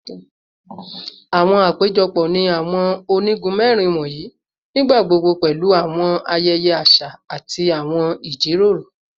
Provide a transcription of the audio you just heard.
Awọn apejọpọ ni awọn onigun mẹrin wọnyi nigbagbogbo pẹlu awọn ayẹyẹ aṣa ati awọn ijiroro